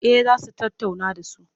Eh za su tattauna da su.